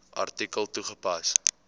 artikel toegepas